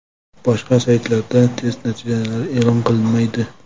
Boshqa saytlarda test natijalari e’lon qilinmaydi.